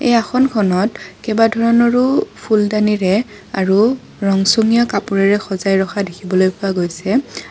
এই আসনখনত কেইবা ধৰণৰো ফুলদানিৰে আৰু ৰংচঙীয়া কাপোৰেৰে সজাই ৰখা দেখিবলৈ পোৱা গৈছে।